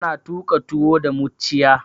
Ana tuƙa tuwo da mucciya.